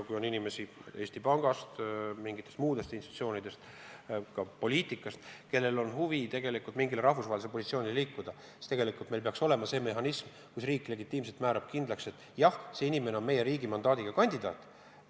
Kui on inimesi Eesti Pangast, mingitest muudest institutsioonidest, ka poliitikast, kellel on huvi saavutada mingi rahvusvaheline positsioon, siis meil peaks olema mehhanism, mille abil riik legitiimselt määrab kindlaks, et jah, see inimene on meie riigi mandaadiga kandidaat.